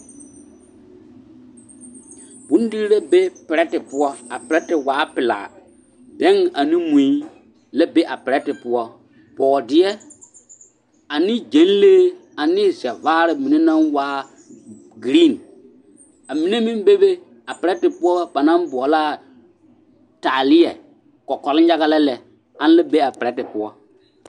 Bondiiri la be perɛte poɔ, a perɛte waa pelaa bɛŋ ane mui la be a perɛte poɔ, bɔɔdeɛ ane gyɛnlee ane zɛvaare mine naŋ waa giriin, amine meŋ bebe a perɛte poɔ banaŋ boɔlaa taaleɛ, kɔkɔlenyaga la lɛ ana la be a perɛte poɔ.